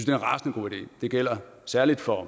en rasende god idé det gælder særlig for